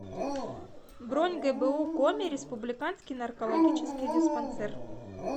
бронь гбу коми республиканский наркологический диспансер